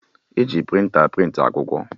E ji prịnta a prịntị akwụkwọ